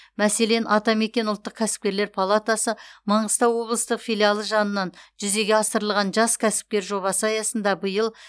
мәселен атамекен ұлттық кәсіпкерлер палатасы маңғыстау облыстық филиалы жанынан жүзеге асырылған жас кәсіпкер жобасы аясында биыл